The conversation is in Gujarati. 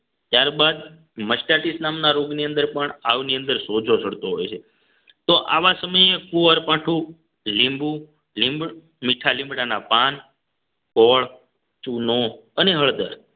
ત્યારબાદ mercedes નામના રોગની અંદર પણ આવની અંદર સોજો ચડતો હોય છે તો આવા સમયે કુંવરપાઠું લીંબુ લીંબ મીઠા લીમડાના પાન ગોળ ચૂનો અને હળદર